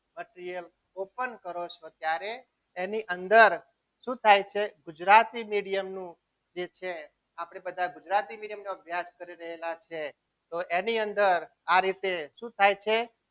પછી એ open કરો છો ત્યારે એની અંદર શું થાય છે ગુજરાતી medium નું જે છે આપણે બધા ગુજરાતી medium ના class કરી રહેલા છીએ તો એની અંદર આ રીતે